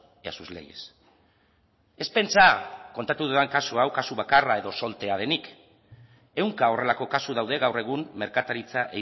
y a sus leyes ez pentsa kontatu dudan kasu hau kasu bakarra edo soltea denik ehunka horrelako kasu daude gaur egun merkataritza